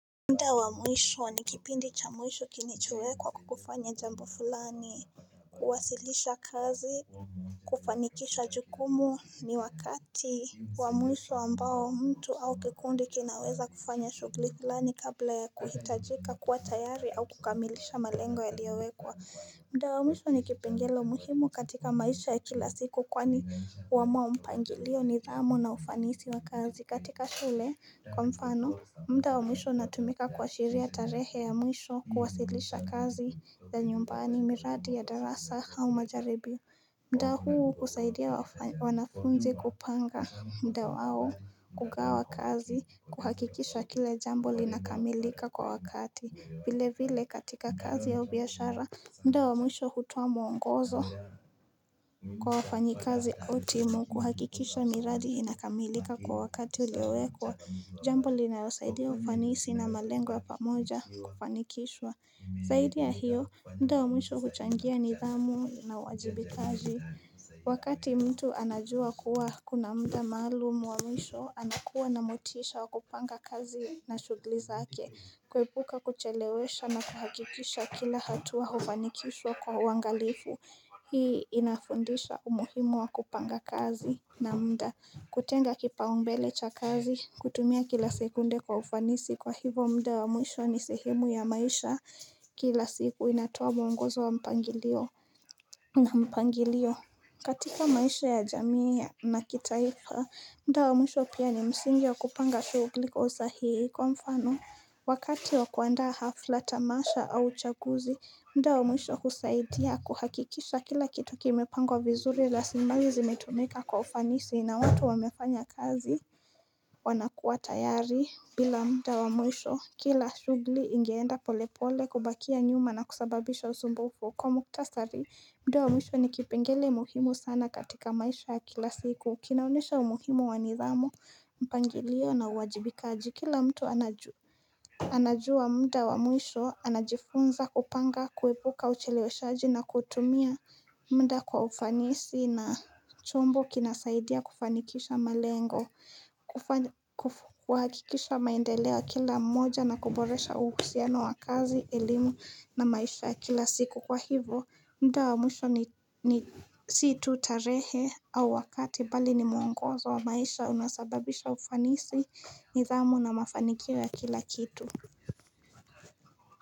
Mda wa mwisho ni kipindi cha mwisho kinachowekwa kufanya jambo fulani, kuwasilisha kazi, kufanikisha jukumu ni wakati. Wa mwisho ambao, mtu au kikundi kinaweza kufanya shughuli fulani kabla ya kuhitajika kuwa tayari au kukamilisha malengo yaliyowekwa. Mda wa mwisho ni kipengele muhimu katika maisha ya kila siku kwani huamua mpangilio nidhamu na ufanisi wa kazi katika shule kwa mfano. Mda wa mwisho inatumika kuashiria tarehe ya mwisho kuwasilisha kazi za nyumbani miradi ya darasa au majaribio mda huu husaidia wanafunzi kupanga mda wao kugawa kazi kuhakikisha kile jambo linakamilika kwa wakati vile vile katika kazi ya ubiashara mda wa mwisho hutoa mwongozo Kwa wafanyi kazi au timu kuhakikisha miradi inakamilika kwa wakati uliowekwa Jambo linalosaidia ufanisi na malengo ya pamoja kufanikishwa Zaidi ya hiyo mda wa mwisho huchangia nidhamu na uwajibikaji Wakati mtu anajua kuwa kuna mda maalumu wa mwisho anakuwa na motisha wa kupanga kazi na shughuli zake Kuebuka kuchelewesha na kahakikisha kila hatua hufanikishwa kwa uangalifu Hii inafundisha umuhimu wa kupanga kazi na mda kutenga kipaumbele cha kazi, kutumia kila sekunde kwa ufanisi kwa hivo mda wa mwisho ni sehemu ya maisha kila siku inatuoa mwongozo wa mpangilio na mpangilio katika maisha ya jamii na kitaifa, mda wa mwisho pia ni msingi wa kupanga shughuli kwa usahihi kwa mfano Wakati wa kuandaa hafla tamasha au chaguzi, mda wa mwisho husaidia kuhakikisha kila kitu kimepangwa vizuri rasilimali zimetumika kwa ufanisi na watu wamefanya kazi wanakuwa tayari bila mda wa mwisho kila shughuli ingeenda pole pole kubakia nyuma na kusababisha uzumbufu kwa mukhtasari mda wa mwisho ni kipengele muhimu sana katika maisha ya kila siku kinaonyesha umuhimu wa nidhamu mpangilio na uwajibikaji kila mtu anajua anajua mda wa mwisho anajifunza kupanga kuepuka ucheleweshaji na kutumia mda kwa ufanisi na chombo kinasaidia kufanikisha malengo kuhakikisha maendeleo ya kila mmoja na kuboresha uhusiano wa kazi elimu na maisha kila siku kwa hivyo mda wa mwisho ni si tu tarehi au wakati, bali ni mwongozo, wa maisha unasababisa ufanisi nidhamu na mafanikio ya kila kitu.